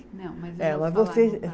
Não, mas eu